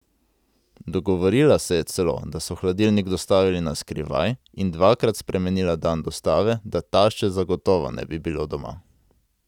Dogovorila se je celo, da so hladilnik dostavili na skrivaj, in dvakrat spremenila dan dostave, da tašče zagotovo ne bi bilo doma.